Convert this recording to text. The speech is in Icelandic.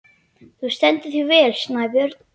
Þú stendur þig vel, Snæbjörn!